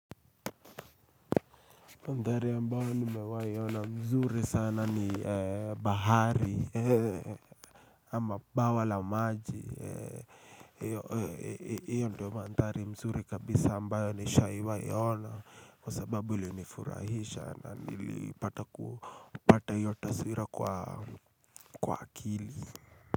Mandhari ambayo nimewaiona mzuri sana ni bahari ama bawa la maji hiyo ndiyo mandhari mzuri kabisa ambayo nishawaiiona Kwa sababu ilinifurahisha na nilipata hiyo taswira kwa akili.